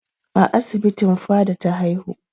A asibitin Fada ta haihu.